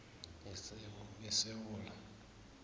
yesewula